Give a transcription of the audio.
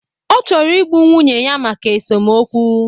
Ọ chọrọ igbu nwunye ya maka esomokwu.